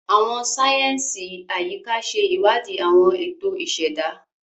Àwọn sáyẹnsì Ayika ṣe iwadi awọn eto iseda.